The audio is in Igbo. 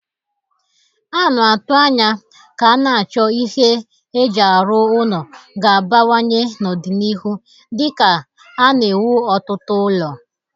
A na-atụ anya ka a na-achọ ihe eji arụ ụlọ ga-abawanye n'ọdịniihu dika a na-ewu ọtụtụ ụlọ